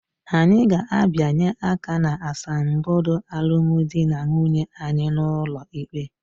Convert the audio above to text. Anyị ga-abịanye aka n'asambodo alụmdi na nwunye anyị n'ụlọ ikpe